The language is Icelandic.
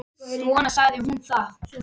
Svona sagði hún það.